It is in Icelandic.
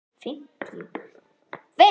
Tímanum hefur verið varið í annað.